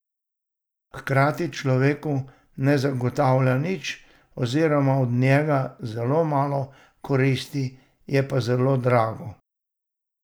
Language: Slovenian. Hkrati človeku ne zagotavlja nič oziroma ima od njega zelo malo koristi, je pa zelo drago.